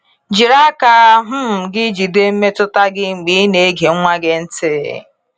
Jiri aka um gị jide mmetụta gị mgbe ị na-ege nwa gị ntị.